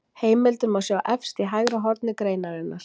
Heimildir má sjá efst í hægra horni greinarinnar.